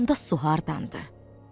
Onda su hardandır?